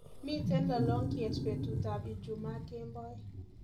Miten lolongiet betutab ijumaa kemboi